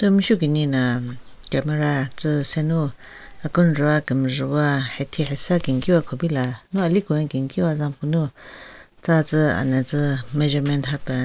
Thu meshu keni na camera tsü senu akenjvu wa kemjhewa hathi hasen kenkiwa kupila nu aliwa kenkiwa zen pvü nu tsa tsü ana tsü measurement hapen.